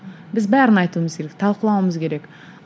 біз бәрін айтуымыз керек талқылауымыз керек